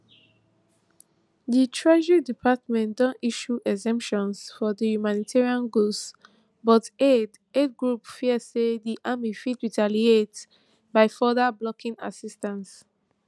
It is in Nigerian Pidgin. di treasury department don issue exemptions for humanitarian goods but aid aid groups fear say di army fit retaliate by further blocking assistance